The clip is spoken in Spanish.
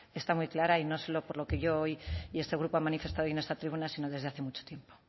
está muy clara y no solo por lo que yo hoy y este grupo ha manifestado hoy en esta tribuna sino desde hace mucho tiempo